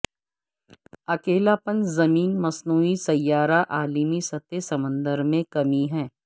اکیلاپن زمین مصنوعی سیارہ عالمی سطح سمندر میں کمی ہے